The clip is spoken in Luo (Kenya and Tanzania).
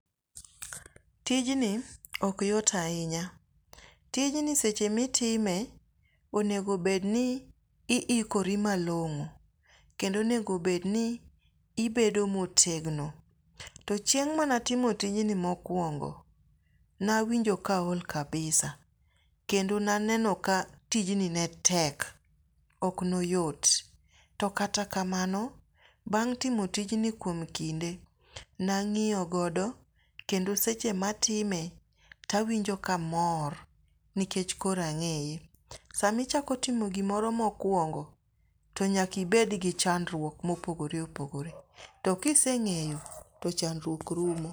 Tijni ok yot ahinya. Tijni seche ma itime, onego bedni ni iikori malong'o kendo onego bedni ibedo motegno. To chieng' mane atimo tijni mokuongo, ne awinjo ka aol kabisa kendo ne aneno ka tijni ne tek ok ne oyot to kata kamano, bang' timo tijni kuom kinde ne ang'iyo godo kendo seche matime to awinjo ka amor nikech koro ang'eye. Sama itimo gimoro mokuongo to nyaka ibed gi chandruok mopogor opogoreto ka isee ng'eyo, to chandruok rumo.